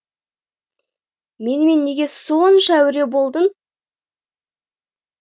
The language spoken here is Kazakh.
менімен неге сонша әуре болдың